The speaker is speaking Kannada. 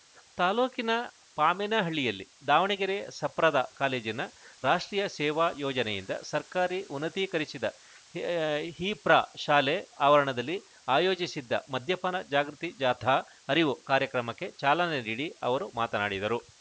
ತಾಲೂಕಿನ ಪಾಮೇನಹಳ್ಳಿಯಲ್ಲಿ ದಾವಣಗೆರೆ ಸಪ್ರದ ಕಾಲೇಜಿನ ರಾಷ್ಟ್ರೀಯ ಸೇವಾ ಯೋಜನೆಯಿಂದ ಸರ್ಕಾರಿ ಉನ್ನತೀಕರಿಸಿದ ಹಿ ಹಿಪ್ರಾ ಶಾಲೆ ಆವರಣದಲ್ಲಿ ಆಯೋಜಿಸಿದ್ದ ಮದ್ಯಪಾನ ಜಾಗೃತಿ ಜಾಥಾ ಅರಿವು ಕಾರ್ಯಕ್ರಮಕ್ಕೆ ಚಾಲನೆ ನೀಡಿ ಅವರು ಮಾತನಾಡಿದರು